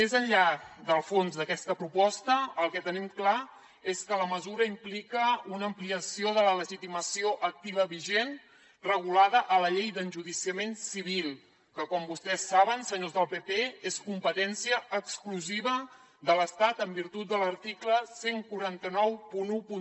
més enllà del fons d’aquesta proposta el que tenim clar és que la mesura implica una ampliació de la legitimació activa vigent regulada a la llei d’enjudiciament civil que com vostès saben senyors del pp és competència exclusiva de l’estat en virtut de l’article catorze noranta u